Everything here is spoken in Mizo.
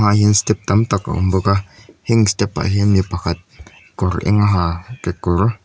ha hian step tam tak a awm bawk a heng step ah hian mi pakhat kawr eng ha kekawr--